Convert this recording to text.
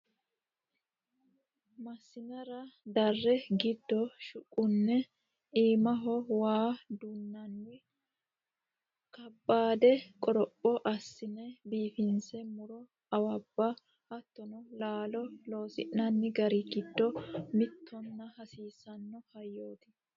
Masinara dare giddo shuqune iimaho waa dunanni kaabbade qoropho assina biifinse muro awabba hattono laalo loosi'nanni gari giddo mittonna hasiisano hayyoti.